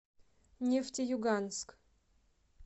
нефтеюганск